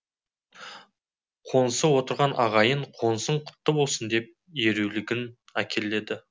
қоңсы отырған ағайын қонысың құтты болсын деп ерулігін әкелді